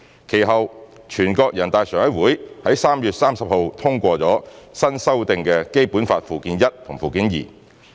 其後，全國人大常委會於3月30日通過新修訂的《基本法》附件一和附件二。